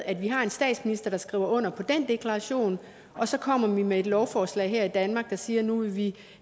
at vi har en statsminister der skriver under på den deklaration og så kommer vi med et lovforslag her i danmark der siger at nu vil vi